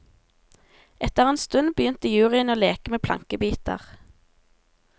Etter en stund begynte juryen å leke med plankebiter.